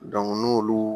n'olu